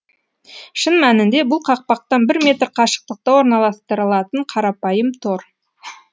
шын мәнінде бұл қақпақтан бір метр қашықтықта орналастырылатын қарапайым тор